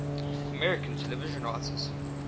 american television writers